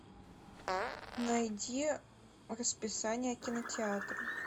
найди расписание кинотеатра